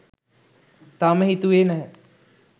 තාම හිතුවේ නැහැ